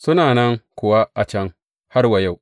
Suna nan kuwa a can har wa yau.